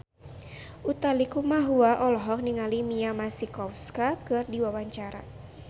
Utha Likumahua olohok ningali Mia Masikowska keur diwawancara